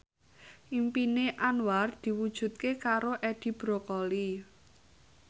impine Anwar diwujudke karo Edi Brokoli